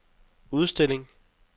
udstilling